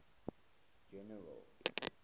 general